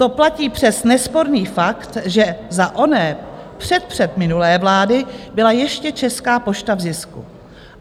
To platí přes nesporný fakt, že za oné předpředminulé vlády byla ještě Česká pošta v zisku.